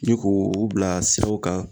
Ni k'o bila siraw kan